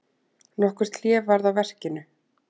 Nokkurt hlé varð á verkinu.